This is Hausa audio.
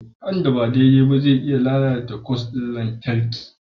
Haɗin da ba daidai ba zai iya lalata kwas ɗin lantarki